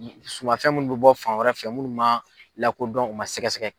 Sumafɛn minnu bɛ bɔ fan wɛrɛ fɛ munnu man lakodɔn u man sɛgɛsɛgɛ.